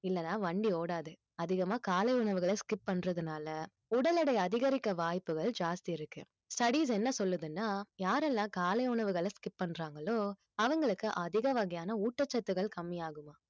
இல்லன்னா வண்டி ஓடாது அதிகமா காலை உணவுகளை skip பண்றதுனால உடல் எடை அதிகரிக்க வாய்ப்புகள் ஜாஸ்தி இருக்கு studies என்ன சொல்லுதுன்னா யாரெல்லாம் காலை உணவுகளை skip பண்றாங்களோ அவங்களுக்கு அதிக வகையான ஊட்டச்சத்துக்கள் கம்மியாகுமாம்